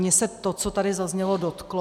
Mě se to, co tady zaznělo, dotklo.